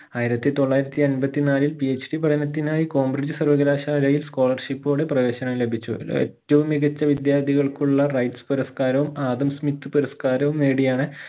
ആയിരത്തി തൊള്ളായിരത്തി അമ്പത്തി നാലിൽ PhD പഠനത്തിനായി കോമ്ബ്രിഡ്ജ് സർവകലാശാലയിൽ scholarship ഓടെ പ്രവേശനം ലഭിച്ചു ഏറ്റവും മികച്ച വിദ്യാർത്ഥികൾക്കുള്ള റൈറ്സ് പുരസ്കാരവും ആദസ്മികത്ത് പുരസ്കാരവും നേടിയാണ്